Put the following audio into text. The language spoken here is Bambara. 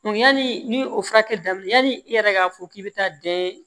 Yanni ni o furakɛ daminɛna yanni i yɛrɛ k'a fɔ k'i bɛ taa den